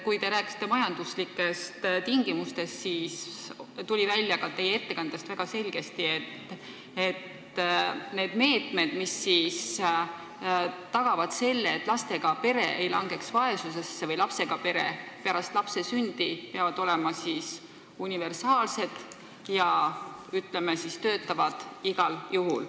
Kui te rääkisite majandustingimustest, siis tuli teie ettekandest väga selgesti välja, et need meetmed, mis tagavad, et pere pärast lapse sündi ei langeks vaesusesse, peavad olema universaalsed ja, ütleme, töötama igal juhul.